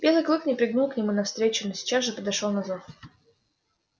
белый клык не прыгнул к нему навстречу но сейчас же подошёл на зов